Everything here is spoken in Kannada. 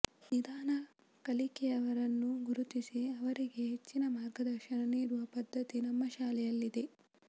ನಿಧಾನ ಕಲಿಕೆಯವರನ್ನು ಗುರುತಿಸಿ ಅವರಿಗೆ ಹೆಚ್ಚಿನ ಮಾರ್ಗದರ್ಶನ ನೀಡುವ ಪದ್ಧತಿ ನಮ್ಮ ಶಾಲೆಯಲ್ಲಿದೆ